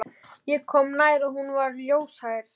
Ég kom nær og hún var ljóshærð.